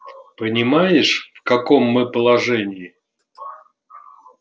понимаешь в каком мы положении